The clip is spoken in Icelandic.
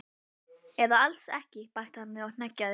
Eða alls ekki bætti hann við og hneggjaði.